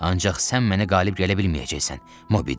Ancaq sən mənə qalib gələ bilməyəcəksən, Mobidik.